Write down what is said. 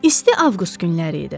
İsti avqust günləri idi.